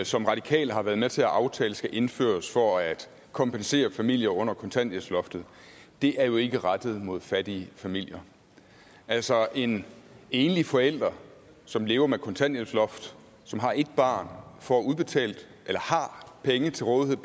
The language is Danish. som radikale har været med til at aftale skal indføres for at kompensere familier under kontanthjælpsloftet er jo ikke rettet mod fattige familier altså en enlig forælder som lever med et kontanthjælpsloft og som har et barn har penge til rådighed